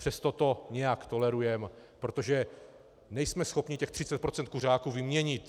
Přesto to nějak tolerujeme, protože nejsme schopni těch 30 % kuřáků vyměnit.